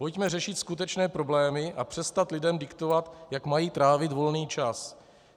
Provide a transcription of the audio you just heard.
Pojďme řešit skutečné problémy a přestat lidem diktovat, jak mají trávit volný čas.